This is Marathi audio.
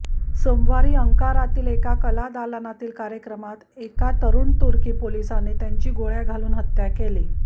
सोमवारी अंकारातील एका कलादालनातील कार्यक्रमात एका तरुण तुर्की पोलिसाने त्यांची गोळ्या घालून हत्या केली